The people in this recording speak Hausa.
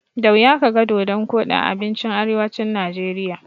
Da wuya kaga dodon koɗi a abincin arewacin Najeriya.